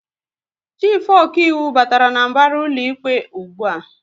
Chifu okaiwu batara n'mbara ụlọikpe ụgbụa